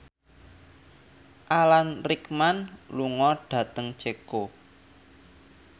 Alan Rickman lunga dhateng Ceko